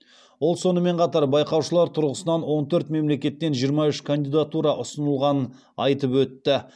ол сонымен қатар байқаушылар тұрғысынан он төрт мемлекеттен жиырма үш кандидатура ұсынылғанын айтып өтті